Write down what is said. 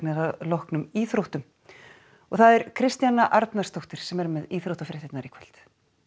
að loknum íþróttum það er Kristjana Arnarsdóttir sem er með íþróttafréttir í kvöld